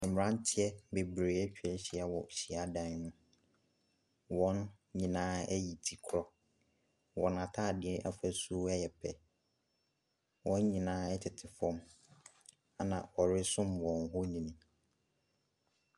Mmeranteɛ bebree atwa ahyia wɔ hyiadan mu. Wɔn nyinaa ayi tikorɔ. Wɔn atadeɛ afasuo yɛ pɛ. Wɔn nyinaa tete fam, ɛnna wɔresom wɔn honin.